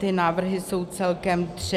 Ty návrhy jsou celkem tři.